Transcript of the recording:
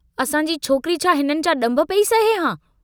असांजी छोकरी छा हिननि जा डुंभ पेई सहे हां?